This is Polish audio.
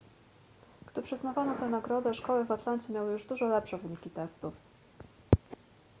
gdy przyznawano tę nagrodę szkoły w atlancie miały już dużo lepsze wyniki testów